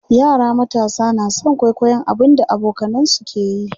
yara matasa na San kwaikwayon abun da abokanansu ke yi